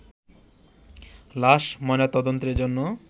লাশ ময়নাতদন্তের জন্য